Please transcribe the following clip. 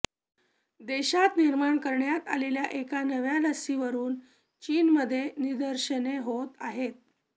देशात निर्माण करण्यात आलेल्या एका नव्या लसीवरून चीनमध्ये निदर्शने होत आहेत